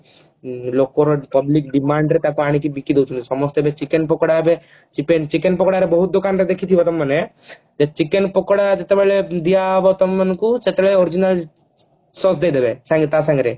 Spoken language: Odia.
ଲୋକର public demand ରେ ତାକୁ ଆଣିକି ବିକିଦଉଛନ୍ତି ସମସ୍ତେ ଏବେ chicken ପକୋଡା ଏବେ chicken chicken ପକୋଡାର ବହୁତ ଦୋକାନ ଦେଖିଥିବ ତମେ ମାନେ ଯେ chicken ପକୋଡା ଯେତେବଳେ ଦିଆହେବ ତମମାନଙ୍କୁ ସେତେବେଳ original Sause ଦେଇଦେବେ ସଙ୍ଗେ ତା ସାଙ୍ଗରେ